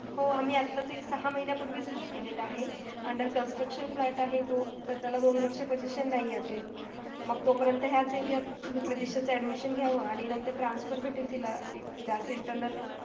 हो आम्ही आत्ताच सहा महिन्यापूर्वीच book केलेलं आहे. under construction flat आहे तो त्याला दोन वर्ष posession नाही अजून. मग तो पर्यन्त ह्याच area त मग लगेचच admission घ्यावं. आणि नंतर transfer भेटेल तिला त्याच internal